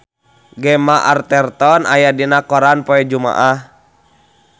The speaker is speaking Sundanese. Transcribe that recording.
Gemma Arterton aya dina koran poe Jumaah